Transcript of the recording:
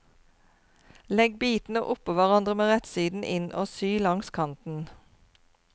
Legg bitene oppå hverandre med rettsiden inn og sy langs kanten.